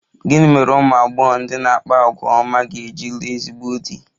Gịnị mere ụmụ agbọghọ ndị na-akpa àgwà ọma ga-eji lụọ ezigbo di?